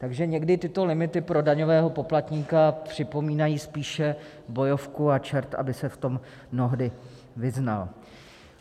Takže někdy tyto limity pro daňového poplatníka připomínají spíše bojovku a čert aby se v tom mnohdy vyznal.